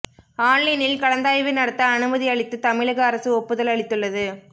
ஆன்லைனில் கலந்தாய்வு நடத்த அனுமதி அளித்து தமிழக அரசு ஒப்புதல் அளித்துள்ளது